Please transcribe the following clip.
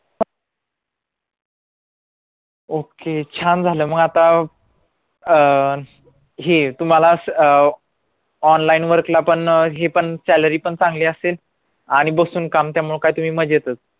okay छान झालं मग आता अं हे तुम्हाला अं online work ला पण हे पण salary पण चांगली असेल आणि बसून काम त्यामुळे काय तुम्ही मज्जेतच